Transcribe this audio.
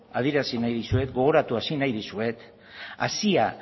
adierazi nahi dizuet gogoratu arazi nahi dizuet hazia